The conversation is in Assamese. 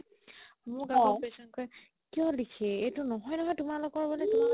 মোক আকৌ patient কই কিয় লিখে এইটো নহয় নহয় তোমালোকৰ বুলে